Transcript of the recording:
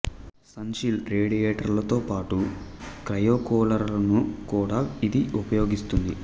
sun shield రేడియేటర్లతో పాటు క్రయోకూలరును కూడా ఇది ఉపయోగిస్తుంది